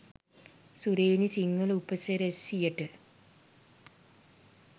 සුරේනි සිංහල උපසිරැසියට.